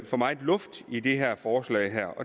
for meget luft i det her forslag